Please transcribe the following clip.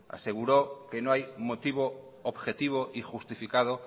aseguró que no hay motivo objetivo y justificado